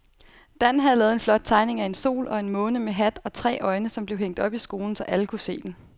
Dan havde lavet en flot tegning af en sol og en måne med hat og tre øjne, som blev hængt op i skolen, så alle kunne se den.